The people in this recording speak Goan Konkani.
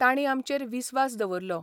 तांणी आमचेर विस्वास दवरलो.